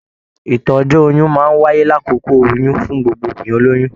Ìtọ́jú oyún máa n wáyé l'akókó oyún fún gbogbo obìnrin olóyún.